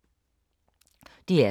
DR K